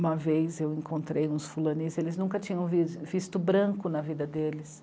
Uma vez eu encontrei uns Fulanis, eles nunca tinham visto branco na vida deles.